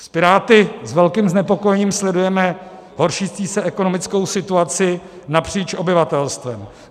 S Piráty s velkým znepokojením sledujeme horšící se ekonomickou situaci napříč obyvatelstvem.